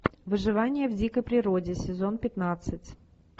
выживание в дикой природе сезон пятнадцать